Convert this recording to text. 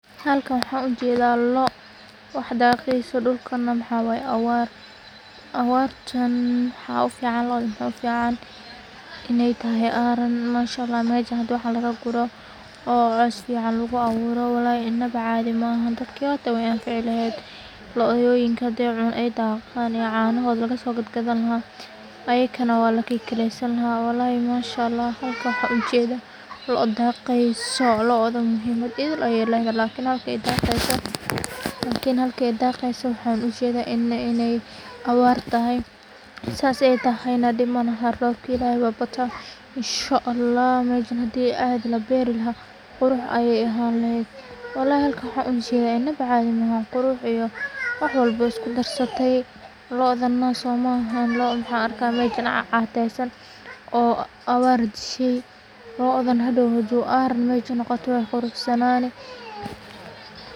Halka waxan ujadah waa loo, wax daqaso dulkana waxa waya awar, awartan waxa ufican inaay tahay aran, mashallah lagu guroh, qoos fican laga awuroh ina cadii mahan walhi ina baa cadii mahan, dadka yotah waya canfini lahad, looyoyinka ay tahay canahod laga sogad gadani lahay, aya kana laga kigalasani lahay walhi mashallah halkan waxaan ujadah loo daqsoh looda muhiimada aya y ladahay lkn masha qaydisoh lkn halki ayay daqisoh waxan uu shagayah inay awaar tahay, saas aya tahaynah dhib malahan roobka ilahay baa inshallah mashan hadii lagu bari lahay quru ayay ahani lahad, walhi halkan waxay inaba cadii mahan, quxu iyoh wax walbo way isku darsata, loodan masha mahan loodan an arga catsan, oo awaar tisha, loodan hadow marka aran masha noqotah way quruxsananin.